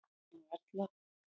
Jón og Erla.